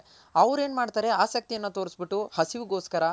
ಅವ್ರ್ ಏನ್ ಮಾಡ್ತಾರೆ ಆಸಕ್ತಿ ಯನ್ನ ತೋರ್ಸ್ ಬಿಟ್ಟು ಹಸಿವ್ಗೊಸ್ಕರ